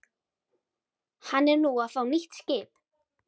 Hann er nú að fá nýtt skip.